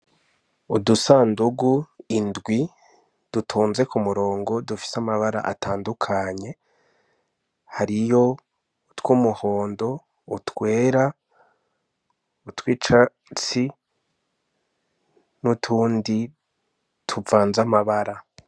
Udusandugu indwi dutonze ku murongo dufise amabara atandukanye hariyo utw'umuhondo, utwera, utw'icatsi n' utundi tuvanze amabara.